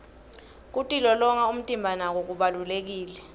kitilolonya umtimba nako kubalulekile